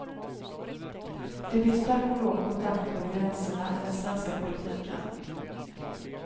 Det finns tack och lov kontakter över gränserna i den svenska politiken.